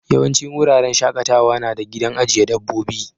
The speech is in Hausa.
Yawancin wuraren shakatawa na da gidan ajiye dabbobi.